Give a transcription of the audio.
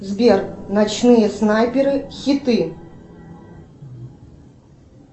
сбер ночные снайперы хиты